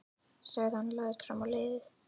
sagði hann og lagðist fram á leiðið.